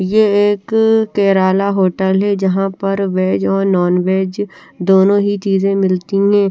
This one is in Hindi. ये एक केराला होटल है जहा पर वेज और नॉन वेज दोनों ही चीज़े मिलती है।